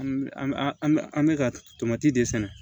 An bɛ an bɛ an bɛ an bɛ ka tomati de sɛnɛ